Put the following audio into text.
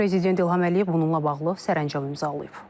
Prezident İlham Əliyev bununla bağlı sərəncam imzalayıb.